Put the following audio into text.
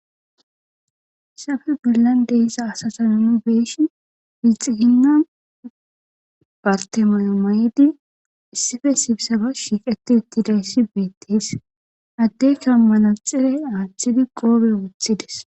Sabe billan deiza asatan nu beeshin iixiginna bartemayo ma'idi issife sibsaba shiiqeti ittidayssi beettes addekka mala xire aaththidi qoobe wuthides.